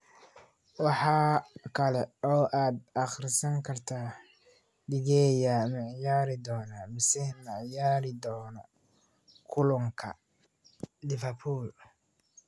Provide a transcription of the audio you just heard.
Waxaa kale oo aad akhrisan kartaa: De Gea ma ciyaari doonaa mise ma ciyaari doono kulanka Liverpool?